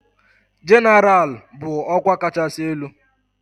Jenéral ral bụ ọkwa kachasị elu.